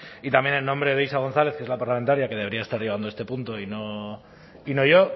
y también en nombre de isa gonzález que es la parlamentaria que debería estar llevando este punto y no yo